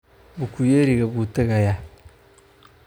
Bukuyeriga buu tagaya